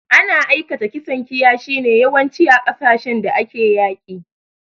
Ana aikata kisan kiyashi ne yawanci, a kasashin da ake yaƙi.